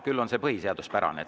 Küll on see põhiseaduspärane.